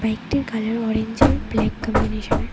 বাইকটির colour orange আর black কম্বিনেশনের.